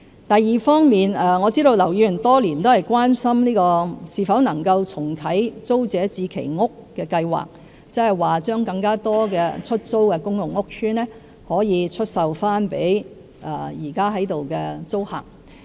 第二方面，我知道劉議員多年來一直很關心是否能夠重啟租置計劃，即把更多出租的公共屋邨單位出售給現在的租客。